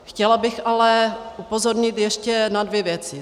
Chtěla bych ale upozornit ještě na dvě věci.